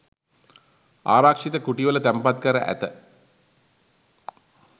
ආරක්‍ෂිත කුටිවල තැන්පත් කර ඇත.